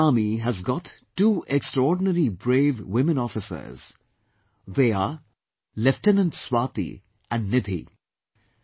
The Indian Army has got two extraordinary brave women officers; they are Lieutenant Swati and Nidhi